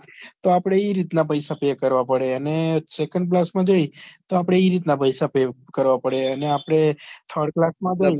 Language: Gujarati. તો આપડે ઈ રીતના પૈસા pay કરવા પડે અને second class માં જઈએ તો આપડે ઈ રીતના પૈસા pay કરવા પડે અને આપડે thired class માં જઈએ